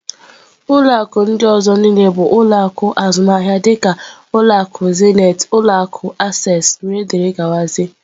Ulọ akụ ndị ọzọ niile bụ ụlọ akụ azụmaahịa dịka ulọ akụ Zenith, ụlọ akụ Access wdg.